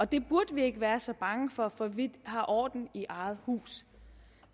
det burde vi ikke være så bange for for vi har orden i eget hus